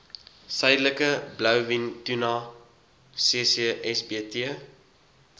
suidelike blouvintuna ccsbt